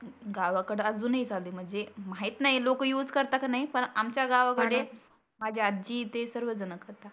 गावाकडं आजुन ही चालू आहे. म्हणजे माहित नाही लोक युज करता की नाही. पण आमच्या गावाकडे माझी आजी ते सर्व जनं करता